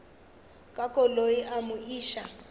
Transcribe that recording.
ka koloi a mo iša